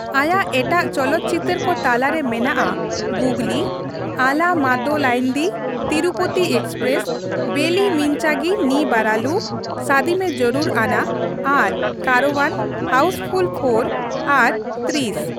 ᱟᱭᱟᱜ ᱮᱴᱟᱜ ᱪᱚᱞᱚᱛ ᱪᱤᱛᱟᱹᱨ ᱠᱚ ᱛᱟᱞᱟᱨᱮ ᱢᱮᱱᱟᱜᱼᱟ ᱜᱩᱜᱽᱞᱤ, ᱟᱞᱟ ᱢᱳᱫᱟᱞᱟᱤᱱᱫᱤ, ᱛᱤᱨᱩᱯᱚᱛᱤ ᱮᱠᱥᱯᱨᱮᱥ, ᱵᱮᱞᱤ ᱢᱤᱱᱪᱟᱜᱤ ᱱᱤ ᱵᱟᱨᱟᱞᱩ, ᱥᱟᱫᱤ ᱢᱮ ᱡᱟᱹᱨᱩᱨ ᱟᱱᱟ ᱟᱨ ᱠᱟᱨᱳᱣᱟᱱ, ᱦᱟᱣᱩᱥ ᱯᱷᱩᱞ ᱔ ᱟᱨ ᱛᱨᱤᱥ ᱾